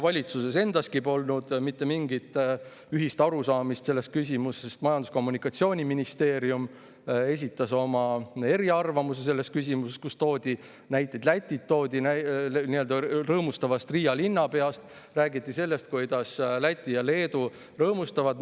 Valitsuses endaski polnud mitte mingit ühist arusaamist selles küsimus, sest Majandus- ja Kommunikatsiooniministeerium esitas oma eriarvamusi selles küsimuses, kus toodi näiteid rõõmustavast Riia linnapeast, räägiti sellest, kuidas Läti ja Leedu rõõmustavad.